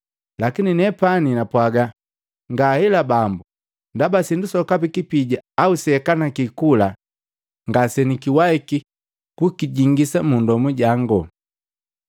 Lakini nepani napwaga, ‘Ngaela, Bambo, ndaba sindu sokapi kipija au seakaniki kula ngasekiwahiki kujingi mu ndomu jango.’